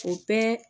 O bɛɛ